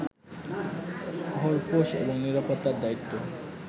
খোরপোশ এবং নিরাপত্তার দায়িত্ব